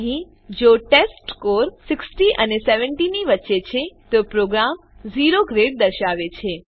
અહીં જો ટેસ્ટસ્કોર ૬૦ અને ૭૦ ની વચ્ચે છે તો પ્રોગ્રામ ઓ ગ્રેડ દર્શાવશે